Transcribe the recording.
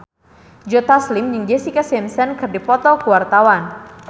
Joe Taslim jeung Jessica Simpson keur dipoto ku wartawan